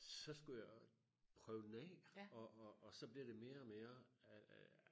så skulle jeg prøve den af og og og så bliver det mere og mere øh